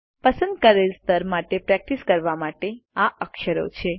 પસંદ કરેલ સ્તર માટે પ્રેક્ટીસ કરવા માટે આ અક્ષરો છે